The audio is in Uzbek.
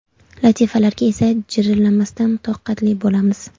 Latifalarga esa jirillamasdan toqatli bo‘lamiz.